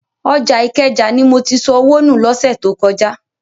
Ọjà Ìkẹjà ni mo ti sọ owó nù lọ́sẹ̀ tó kọjá.